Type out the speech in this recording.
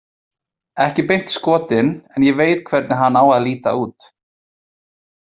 Ekki beint skotin, en ég veit hvernig hann á að líta út